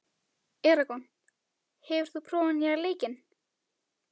Eragon, hefur þú prófað nýja leikinn?